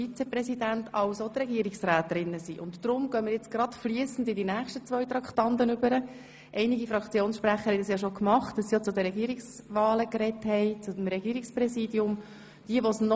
Nun wurden aber die Wahlkuverts so abgepackt, dass darin sowohl die Wahlzettel für die Grossratsvizepräsidien wie auch jene für das Regierungspräsidium und das Regierungsvizepräsidium enthalten sind.